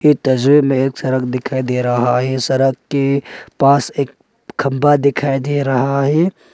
इस तस्वीर में एक सड़क दिखाई दे रहा है सड़क के पास एक खंभा दिखाई दे रहा है।